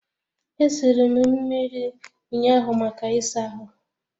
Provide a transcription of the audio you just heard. E siri m mmiri ụnyaahụ maka ịsa ahụ